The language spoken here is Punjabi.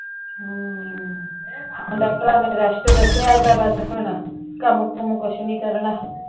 ਹਮ, ਹੁਣ ਡਾਕ੍ਟਰ੍ਸ ਨੇ ਰੈਸਟ ਦੱਸਿਆ ਤਾਂ ਬਸ ਹੁਣ, ਕੰਮ ਕੁਮ ਕੁਛ ਨੀ ਕਰਨਾ